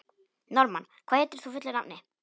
Norðmann, hvað heitir þú fullu nafni?